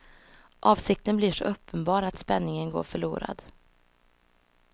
Avsikten blir så uppenbar att spänningen går förlorad.